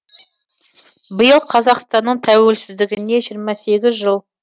биыл қазақстанның тәуелсіздігіне жиырма сегіз жыл